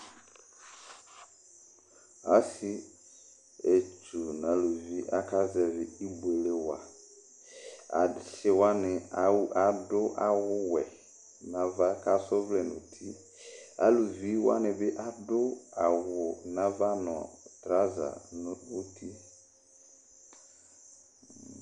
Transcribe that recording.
Asietsu nʋ aluvi ni aka zɛvɩ ibuele wa Asi wani adu awuwɛ nʋ ava, kʋ asa ɔvlɛ nʋ uti Aluvi wani bɩ adu awu nʋ ava nʋ trawuza nʋ uti